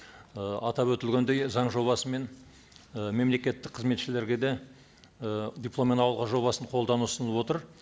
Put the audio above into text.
ы атап өтілгендей заң жобасымен ы мемлекеттік қызметшілерге де ы дипломмен ауылға жобасын қолдану ұсынылып отыр